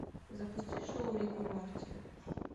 запусти шоу рик и морти